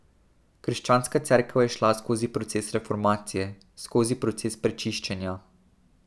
Krščanska cerkev je šla skozi proces reformacije, skozi proces prečiščenja.